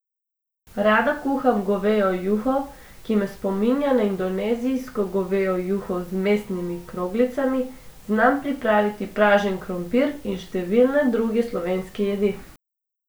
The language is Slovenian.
Rada kuham govejo juho, ki me spominja na indonezijsko govejo juho z mesnimi kroglicami, znam pripraviti pražen krompir in številne druge slovenske jedi.